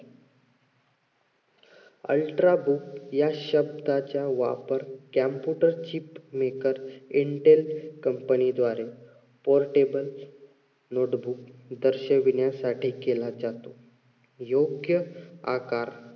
ultra या शब्दाचा वापर computer ची maker intel company द्वारे portable notebook दर्शवण्यासाठी केला जातो.